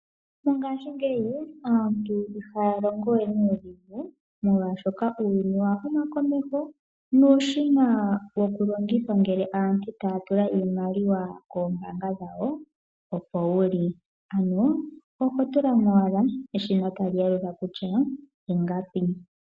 Mongaashingeyi aantu ihaya longo we nuudhigu. Uuyuni owa huma komeho nuushina wokulongitha ngele aantu taya tula iimaliwa koombaanga dhawo opo wuli , ano ototulamo owala eshina tali yalula kutya ingapi.